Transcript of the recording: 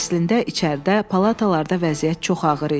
Əslində içəridə, palatalarda vəziyyət çox ağır idi.